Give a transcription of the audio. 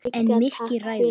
En Mikki ræður.